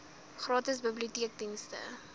cpals gratis biblioteekdienste